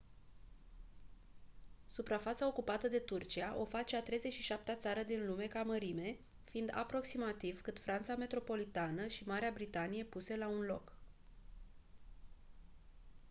suprafața ocupată de turcia o face a 37-a țară din lume ca mărime fiind aproximativ cât franța metropolitană și marea britanie puse la un loc